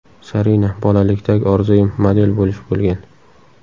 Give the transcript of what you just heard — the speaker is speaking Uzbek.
Zarina: Bolalikdagi orzuyim model bo‘lish bo‘lgan.